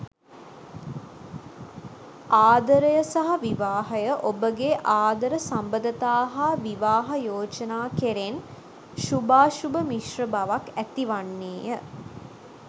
ආදරය සහ විවාහය ඔබගේ ආදර සබඳතා හා විවාහ යෝජනා කෙරෙන් ශුභාශුභ මිශ්‍ර බවක් ඇතිවන්නේය.